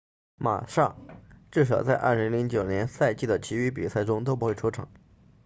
马萨 massa 至少在2009赛季的其余比赛中都不会出场